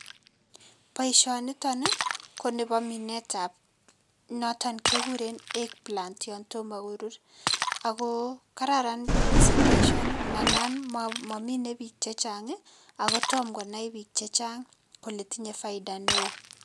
Boisioniton ii, ko nebo minetab noton kekuren eggplant yon tomo korur, ako kararan mising boisioni nanan momine piik che chang ii, ako tomo konai piik che chang kole tinye faida ne oo.